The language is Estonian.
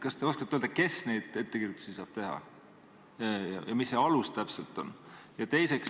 Kas te oskate öelda, kes neid ettekirjutusi teha saab ja mis see alus täpselt on?